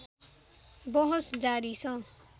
बहस जारी छ